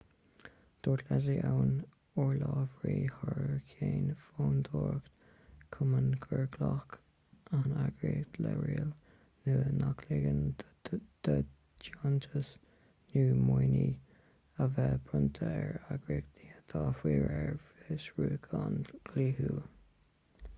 dúirt leslie aun urlabhraí thar ceann fondúireacht komen gur ghlac an eagraíocht le riail nua nach ligeann do dheontais nó maoiniú a bheith bronnta ar eagraíochtaí atá faoi réir fiosrúcháin dhlíthiúil